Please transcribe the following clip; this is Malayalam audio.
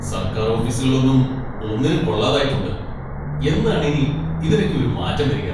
സർക്കാർ ഓഫീസുകളൊന്നും ഒന്നിനും കൊള്ളാതായിട്ടുണ്ട്, എന്നാണ് ഇനി ഇതിനൊക്കെ ഒരു മാറ്റം വരിക?